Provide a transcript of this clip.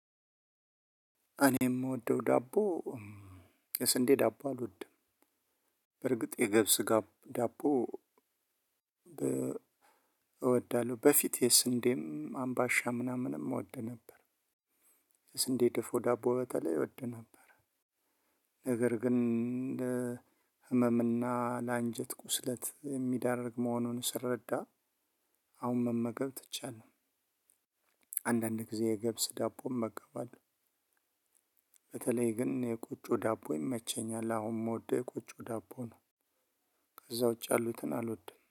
እኔ ደም ምወደው ዳቦ የስንዴ ዳቦ አልወድም በርግጥ የገብስ ዳቦ እወዳለሁ በፊት የስንዴም አምባሻም ምናምንም እወድ ነበር። ስንዴ ድፎ ዳቦ በተለይ እወድ ነበር ነገር ግን ህመም እና ለአንጀት ቁስለት ሚዳርግ መሆኑን ስረዳ አሁን መመገብ ትቻለሁ አንዳንድ ጊዜ የገብስ ዳቦም መገባለወ በተለይ ግን የቆጮ ዳቦ ይመቸኛል አሁን ምወደው የቆጮ ዳቦ ነው። ከዛ ውጭ አሉትን አልወድም